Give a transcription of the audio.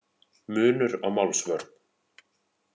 Munur á málsvörn